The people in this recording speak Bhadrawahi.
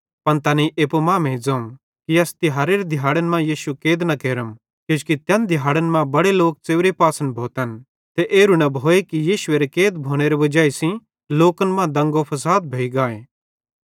पन तैनेईं एप्पू मांमेइं ज़ोवं कि अस तिहारेरे दिहाड़न मां यीशुए कैद न केरम किजोकि तैन दिहाड़न मां बड़े लोक च़ेव्रे पासन भोतन ते एरू न भोए कि यीशुएरे कैद भोनेरे वजाई सेइं लोकन मां दंगोफसाद भोइ गाए